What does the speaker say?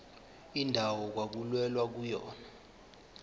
indawo okwakulwelwa kuyona